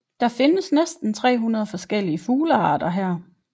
Der findes næsten 300 forskellige fuglearter her